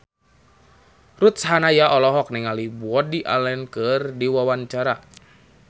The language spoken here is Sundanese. Ruth Sahanaya olohok ningali Woody Allen keur diwawancara